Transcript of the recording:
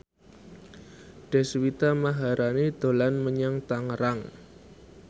Deswita Maharani dolan menyang Tangerang